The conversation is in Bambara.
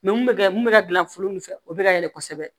mun bɛ kɛ mun bɛ ka gilan foro min fɛ o bɛ ka yɛlɛ kosɛbɛ